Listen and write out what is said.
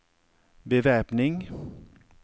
bevæpning